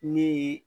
Ni